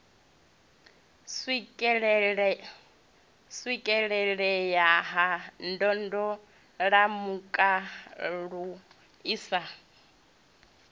swikelelea ha ndondolamutakalo i sa